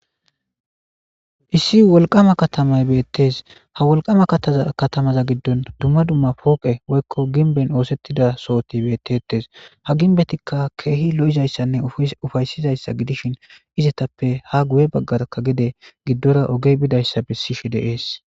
Issi wolqama katamay beettes ha wolqama zkatamaza giddon dumma dumma pooqe woykko ginben oosettida sohoti beettettes ha ginbetikka keehi lo'izayssanne ufaysizayssa gidishin izetappe ha guye baggarka giddora ogey bidayssa bessi shi deees